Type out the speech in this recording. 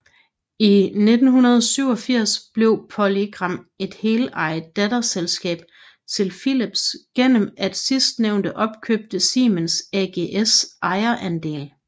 I 1987 blev PolyGram et heleejet datterselskab til Philips gennem at sidstnævnte opkøbte Siemens AGs ejerandel